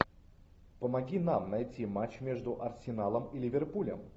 помоги нам найти матч между арсеналом и ливерпулем